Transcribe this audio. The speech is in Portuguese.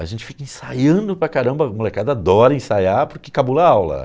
A gente fica ensaiando para caramba, a molecada adora ensaiar porque cabula aula.